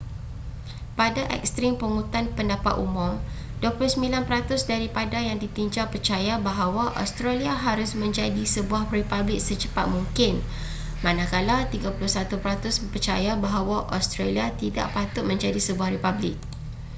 pada ekstrim pungutan pendapat umum 29 peratus daripada yang ditinjau percaya bahawa australia harus menjadi sebuah republik secepat mungkin manakala 31 peratus percaya bahawa australia tidak patut menjadi sebuah republik